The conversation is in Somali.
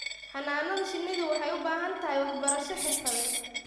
Xannaanada shinnidu waxay u baahan tahay waxbarasho xirfadeed.